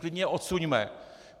Klidně je odsuňme.